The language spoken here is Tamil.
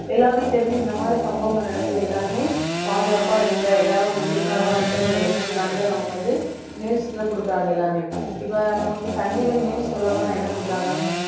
எல்லாமே தெரிஞ்சு இந்த மாதிரி சம்பவங்கள் நடக்குது எல்லாருமே பாதுகாப்பா இருங்க எல்லாரும் ஒரு விழிப்புணர்வா இருக்கணும்ன்னு உள்ள எண்ணத்துக்காண்டிதான் நமக்கு வந்து news எல்லாம் கொடுக்குறாங்க எல்லாருமே இப்ப நமக்கு சன் TV news சொல்லப் போனா என்ன கொடுக்குறாங்க